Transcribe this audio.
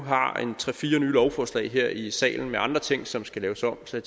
har tre fire nye lovforslag her i salen med andre ting som skal laves om så